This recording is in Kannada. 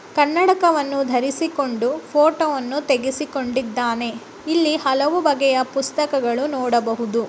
ಕನ್ನಡಕವನ್ನು ಧರಿಸಿಕೊಂಡು ಫೋಟೋವನ್ನು ತೆಗೆಸಿಕೊಂಡಿದ್ದಾನೆ. ಇಲ್ಲಿ ಹಲವು ಬಗೆಯ ಪುಸ್ತಕಗಳನ್ನು ನೋಡಬಹುದು.